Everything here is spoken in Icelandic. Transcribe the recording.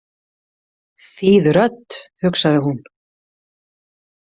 Þýð rödd, hugsaði hún.